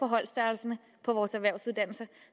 holdstørrelserne på vores erhvervsuddannelser